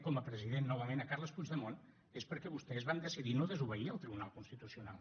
com a president novament carles puigdemont és perquè vostès van decidir no desobeir el tribunal constitucional